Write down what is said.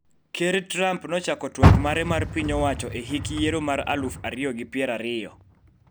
Ker Trump nochako twak mare mar piny owacho e hik yiero mar aluf ariyo gi pier ariyo